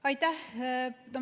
Aitäh!